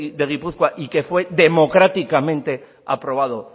de gipuzkoa y que fue democráticamente aprobado